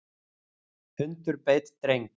Hundur beit dreng